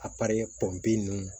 A pari pɔnpe ninnu